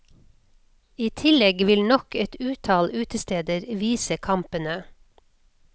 I tillegg vil nok et utall utesteder vise kampene.